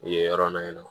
Yen yɔrɔ la yen nɔ